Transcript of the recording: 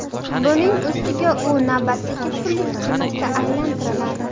Buning ustida u navbatdagi pullik xizmatga aylantiriladi.